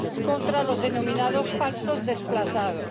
contra los denominados falsos desplazados.